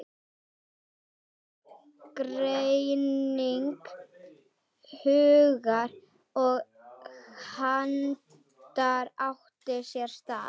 Aðgreining hugar og handar átti sér stað.